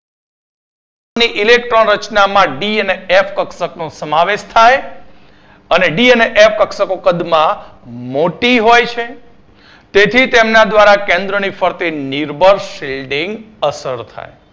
ની electron રચનામા D અને F કક્ષકનો સમાવેશ થાય. અને D અને F કક્ષકો કદ મા મોટી હોય છે તેથી તેમના દ્વારા કેન્દ્રની ફરતે નિર્બળ shielding અસર થાય